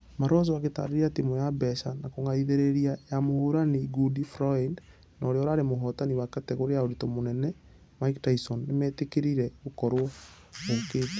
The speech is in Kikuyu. Malonza akĩtarĩria timũ ya mbeca na kũgathĩrĩra ya mũhũrani ngundi floyd na ũrĩa ũrarĩ mũhotani wa kategore ya ũritũ mũnene mike tyson nĩmetekerire gũkorwo....ũkĩte.